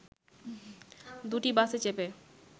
দুটি বাসে চেপে